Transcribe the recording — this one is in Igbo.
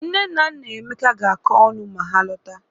Nne na nna Emeka ga-akọ ọnụ ma ha lọta